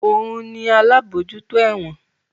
Òun ni alábòójútó ẹ̀wọ̀n